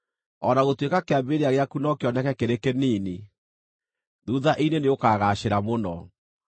O na gũtuĩka kĩambĩrĩria gĩaku no kĩoneke kĩrĩ kĩnini, thuutha-inĩ nĩũkagaacĩra mũno.